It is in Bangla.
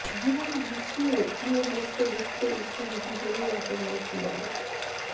জীবন গুছিয়ে নিয়ে বসতে বসতেই শুনি জীবনের একেবারে কিনারে